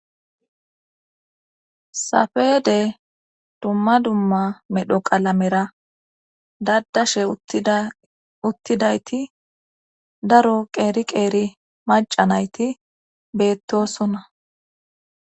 safede dumma dumma medho qalamera daddashe uttidayti daro qeeri qeeri maca nayti beettosona